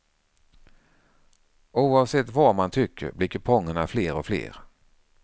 Oavsett vad man tycker blir kupongerna fler och fler.